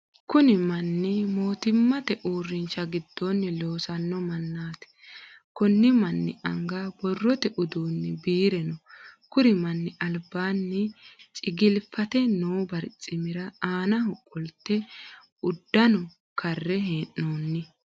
Kunni manni mootimmate uurinsha gidoonni loosano manaati. Konni manni anga borrote uduunni biire no. Kuri manni albaanni cigilfate noo barcimira aannaho qolote udano kare hee'noonni.